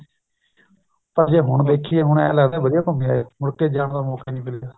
ਤਾਂ ਜੇ ਹੁਣ ਦੇਖੀਏ ਹੁਣ ਏਂ ਲੱਗਦੀ ਵਧੀਆ ਘੁੰਮ ਆਏ ਮੁੜ ਕੀ ਏ ਜਾਣ ਦਾ ਮੋਕਾ ਹੀ ਨੀ ਮਿਲਿਆ